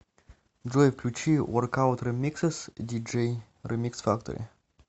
джой включи воркаут ремиксес диджей ремикс фактори